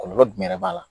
Kɔlɔlɔ jumɛn yɛrɛ b'a la